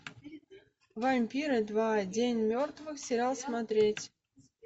вампиры два день мертвых сериал смотреть